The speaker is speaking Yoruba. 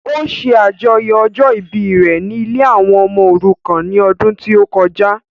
Ó ṣe àjọyọ̀ ọjọ́ ìbí rẹ ní ilée àwọn ọmọ òrukàn ní ọdún tí ó kọjá